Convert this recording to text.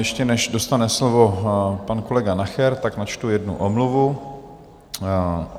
Ještě než dostane slovo pan kolega Nacher, tak načtu jednu omluvu.